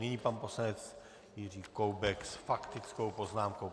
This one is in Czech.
Nyní pan poslanec Jiří Koubek s faktickou poznámkou.